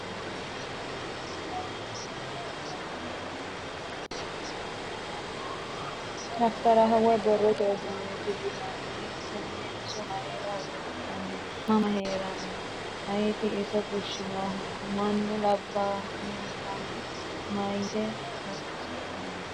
daftaraho woy borrote uduunneeti yinanni konne iso mayra horoonsi'nanni mama heeranno ? ayeti iso fushshinohu ? mannu labbahullanso maytino horoonsidhanno?